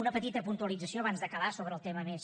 una petita puntualització abans d’acabar sobre el tema més